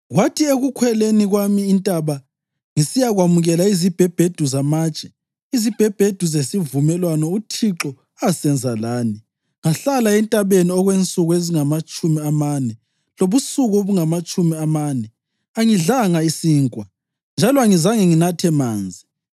Kwathi ekukhweleni kwami intaba ngisiyakwamukela izibhebhedu zamatshe, izibhebhedu zesivumelwano uThixo asenza lani, ngahlala entabeni okwensuku ezingamatshumi amane lobusuku obungamatshumi amane; angidlanga sinkwa njalo angizange nginathe amanzi.